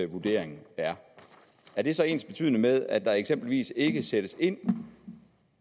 vurdering er det så ensbetydende med at der eksempelvis ikke sættes ind